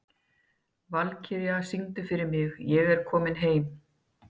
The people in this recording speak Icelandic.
Valkyrja, syngdu fyrir mig „Ég er kominn heim“.